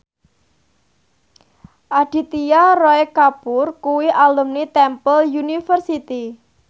Aditya Roy Kapoor kuwi alumni Temple University